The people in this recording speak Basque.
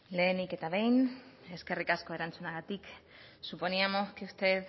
lehenik eta behin eskerrik asko erantzunagatik suponíamos que usted